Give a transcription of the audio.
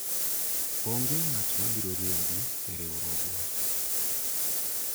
onge ng'at mabiro riembi e riwruogwa